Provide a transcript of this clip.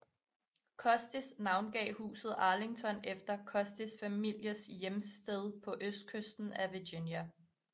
Custis navngav huset Arlington efter Custis familiens hjemsted på Østkysten af Virginia